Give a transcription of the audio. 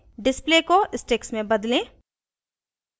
display को sticks में बदलें